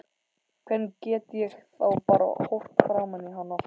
Hvernig get ég þá bara horft framan í hann aftur?